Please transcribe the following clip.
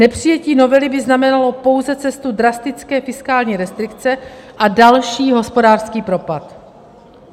Nepřijetí novely by znamenalo pouze cestu drastické fiskální restrikce a další hospodářský propad.